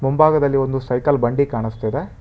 ಮುಂಭಾಗದಲ್ಲಿ ಒಂದು ಸೈಕಲ್ ಬಂಡಿ ಕಾಣಸ್ತಿದೆ.